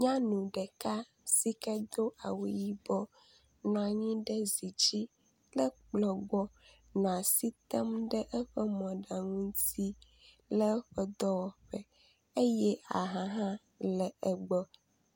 Nyanu ɖeka si ke do awu yibɔ nɔ anyi ɖe zi dzi kple kplɔ gbɔ nɔ asi tem ɖe eƒe mɔɖaŋu ŋuti le eƒe dɔwɔƒe eye aha hã le egbɔ.